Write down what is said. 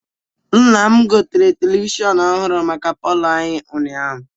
Nna m gotere televishọnụ ọhụrụ maka palọ anyị ụnyaahụ.